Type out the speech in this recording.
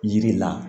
Yiri la